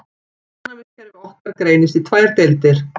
Ónæmiskerfi okkar greinist í tvær deildir.